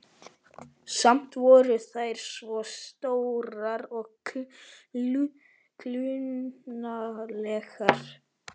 Samt voru þær svo stórar og klunnalegar.